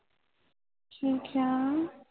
ਕਿ ਕਯਾ